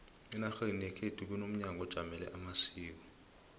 enarheni yekhu kunomnyango ojamele amasiko